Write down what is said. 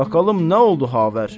Baqalım nə oldu xavər.